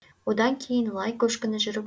одан кейін лай көшкіні жүріп